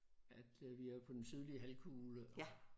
At øh vi er jo på den sydlige halvkugle